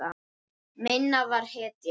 Minna var hetja.